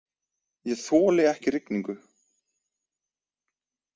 Ég þoli ekki rigningu.